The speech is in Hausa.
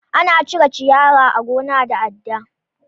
Ana cire ciyawa a gona da adda.